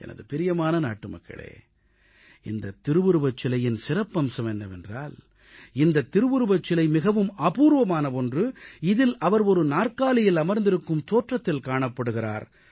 எனது பிரியமான நாட்டுமக்களே இந்த திருவுருவச் சிலையின் சிறப்பம்சம் என்னவென்றால் இந்த திருவுருவச் சிலை மிகவும் அபூர்வமான ஒன்று இதில் அவர் நாற்காலியில் அமர்ந்திருக்கும் தோற்றத்தில் காணப்படுகிறார்